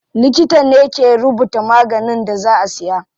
Likita ne ke rubuta maganin da za a siya.